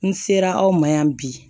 N ser'aw ma yan bi